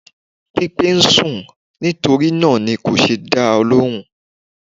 Pípé ń sùn, nítorí náà ni kò ṣe dá ọ lóhùn.